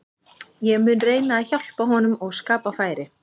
Ég mun reyna að hjálpa honum og skapa færi.